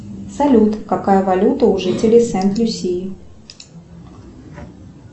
салют какая валюта у жителей сент люсии